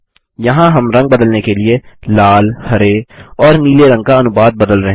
यहाँ हम रंग बदलने के लिए लाल हरे और नीले रंग का अनुपात बदल रहे हैं